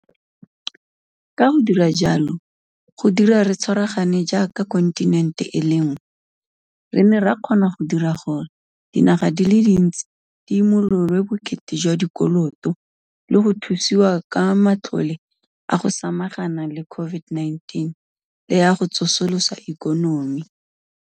Ka go dira jalo, go dira re tshwaragane jaaka kontinente e le nngwe, re ne ra kgona go dira gore dinaga di le dintsi di imololwe bokete jwa dikoloto le go thusiwa ka matlole a go samagana le COVID-19 le a go tsosolosa ikonomi.